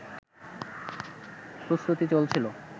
প্রস্তুতি চলছিল